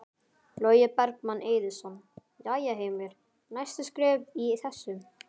Logi Bergmann Eiðsson: Jæja Heimir, næstu skref í þessu?